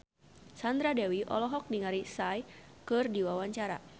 Sandra Dewi olohok ningali Psy keur diwawancara